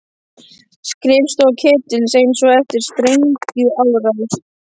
Skrifstofa Ketils eins og eftir sprengjuárás!